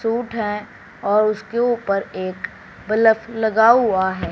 Suit है और उसके ऊपर एक बलफ लगा हुआ है।